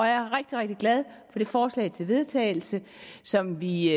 er rigtig rigtig glad for det forslag til vedtagelse som vi